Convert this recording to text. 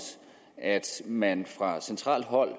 at man fra centralt hold